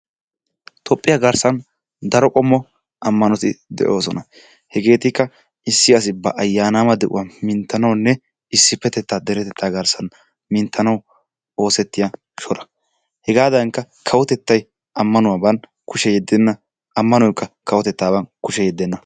Toophphiya garssan daro qommo ammanoti de'oosona. Hegeetikki issi asi ba ayyanama de'uwaa minttanawunne issipetettaa deretetta garssan minttanawu oosettiyaa shoraa. hegadankka kawotettay ammanuwaban kushiya yeddenna, ammanoykka kawotettaban kushiya yeddenna.